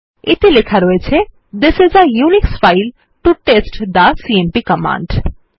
এতে লেখা রয়েছে this is a Unix file to test the CMP command